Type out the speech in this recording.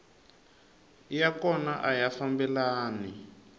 ya kona a ya fambelani